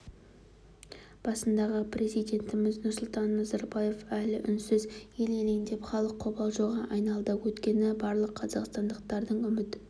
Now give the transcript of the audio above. басындағы президентіміз нұрсұлтан назарбаев әлі үнсіз ел елеңдеп халық қобалжуға айналды өйткені барлық қазақстандықтардың үміт